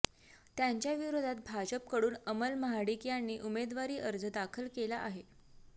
त्यांच्या विरोधात भाजपकडून अमल महाडिक यांनी उमेदवारी अर्ज दाखल केला आहे